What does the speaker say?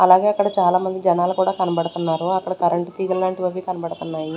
అలాగే ఇక్కడ చాలామంది జనాలు కూడా కనబడుతున్నారు అక్కడ కరెంట్ తీగలు లాంటివి అవి కనబడుతున్నాయి.